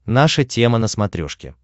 наша тема на смотрешке